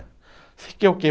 Você quer o quê?